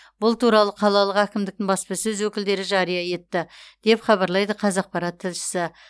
бұл туралы қалалық әкімдіктің баспасөз өкілдері жария етті деп хабарлайды қазақпарат тілшісі